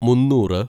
മുന്നൂറ്